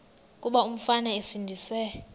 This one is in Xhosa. kuba umfana esindise